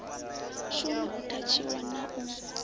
shume u athatshiwa na u